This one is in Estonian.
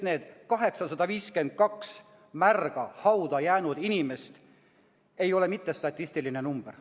Need 852 märga hauda jäänud inimest ei ole mitte statistiline number.